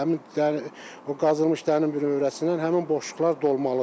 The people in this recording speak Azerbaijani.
Həmin qazılmış dərin bünövrəsindən həmin boşluqlar dolmalıdır.